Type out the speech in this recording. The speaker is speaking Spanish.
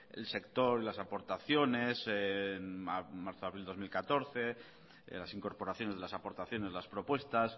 el sector y las aportaciones en marzo abril dos mil catorce las incorporaciones de las aportaciones de las propuestas